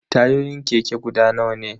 Tayoyin keke guda nawa ne?